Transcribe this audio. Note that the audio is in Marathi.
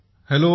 हॅलो